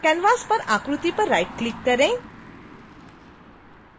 canvas पर आकृति पर राइटक्लिक करें